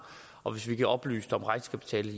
og hvis vi oplyst om regnskabstallet